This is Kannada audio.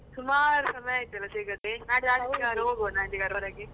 ಹಾ ಸುಮಾರ್ ಸಮಯ ಆಯ್ತಲ್ಲ ಸಿಗದೇ? ನಾಡಿದ್ದು ಹೋಗುವನಾ ಎಲ್ಲಿಗಾದ್ರೂ ಹೊರಗೆ?